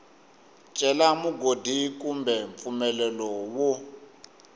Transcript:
cela mugodi kumbe mpfumelelo wo